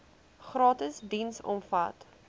gratis diens omvat